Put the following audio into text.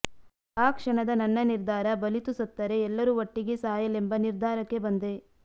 ಆ ಕ್ಷಣದ ನನ್ನ ನಿರ್ಧಾರ ಬಲಿತು ಸತ್ತರೆ ಎಲ್ಲರು ಓಟ್ಟಿಗೇ ಸಾಯಲೆಂಬ ನಿರ್ಧಾರಕ್ಕೆ ಬಂದೆ